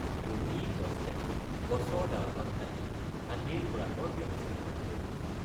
অতি কষ্টে গছৰ ডালপাত কাটি হাতীৰ খোৰাকৰ ব্যৱস্থা কৰা হল।